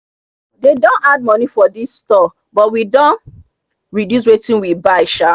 they don add money for this store but we don reduce wetin we buy sha